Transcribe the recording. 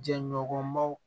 Jɛɲɔgɔnbaw